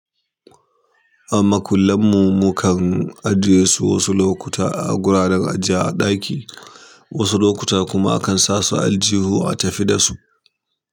A ma kullan mu mukan ajiye su wasu lokuta a gurin ajiyar a ɗaki, wasu lokuta kuma akan sa su aljihu a tafi dasu.